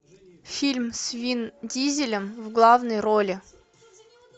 фильм с вин дизелем в главной роли